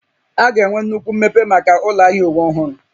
A ga-enwe nnukwu mmepe maka ụlọ ahịa uwe ọhụrụ